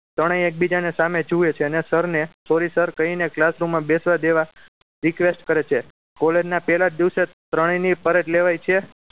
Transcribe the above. ત્રણેય એકબીજાની સામે જુએ છે અને sir ને sorry sir કહીને classroom માં બેસવા દેવા request કરે છે college ના પહેલા જ દિવસે ત્રણેય ની ફરજ લેવાય છે